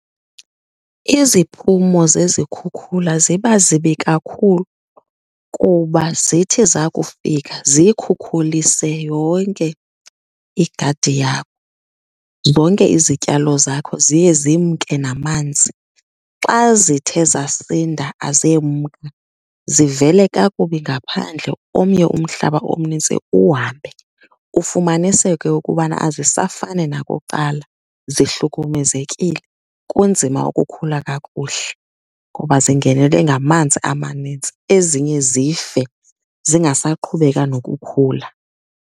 Iziphumo zezikhukhula ziba zibi kakhulu kuba zithi zakufika ziyikhukhulise yonke igadi yakho. Zonke izityalo zakho ziye zimke namanzi. Xa zithe zasinda azemka zivele kakubi ngaphandle, omnye umhlaba omninzi uhambe, ufumaniseke ukubana azisafani nakuqala zihlukumezekile. Kunzima ukukhula kakuhle ngoba zingenelwe ngamanzi amanintsi, ezinye zife zingasaqhubekanga ukukhula.